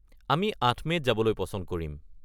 আমি ৮ মে’ত যাবলৈ পচন্দ কৰিম।